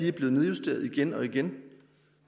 er blevet nedjusteret igen og igen